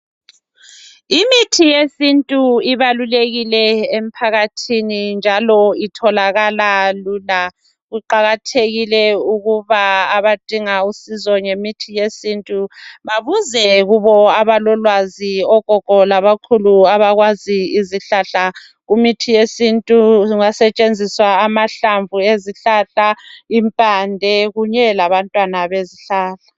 Imithi yesintu ibalulekile emphakathini njalo itholakala lula. Kuqakathekile ukuba abadinga usizo ngemithi yesintu babuze kubo abalolwazi ogogo labakhulu abakwazi izihlahla. Kumithi yesintu kungasetshenzisa amahlamvu ezihlahla, impande kunye labantwana bezihlahla.